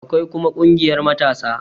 Akwai kuma ƙungiyar matasa